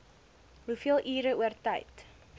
hoeveel ure oortyd